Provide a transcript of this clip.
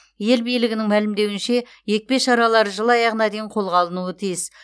ел билігінің мәлімдеуінше екпе шаралары жыл аяғына дейін қолға алынуы тиіс